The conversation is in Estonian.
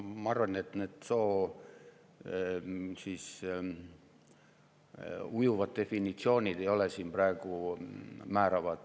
Ma arvan, et need ujuva soo definitsioonid ei ole siin praegu määravad.